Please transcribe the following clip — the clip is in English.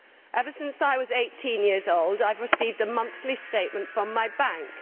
Ever since I was 18 years old, I have received a monthly statement from my bank.